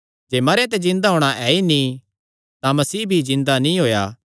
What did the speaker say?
जे मरेयां ते जिन्दा होणा ऐ ई नीं तां मसीह भी जिन्दा नीं होएया